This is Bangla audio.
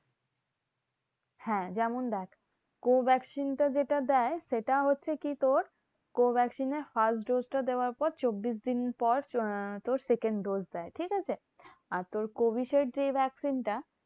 হ্যাঁ যেমন দেখ co vaccine টা যেটা দেয় সেটা হচ্ছে কি তোর? co vaccine এর first dose টা দেওয়ার পর চব্বিশ দিন পর আহ তোর second dose দেয়, ঠিক আছে? আর তোর Covishield যেই vaccine টা